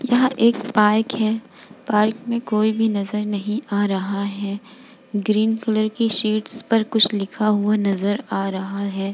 यह एक पार्क है पार्क में कोई भी नजर नहीं आ रहा है ग्रीन कलर की शीट्स पर कुछ लिखा हुआ नजर आ रहा है।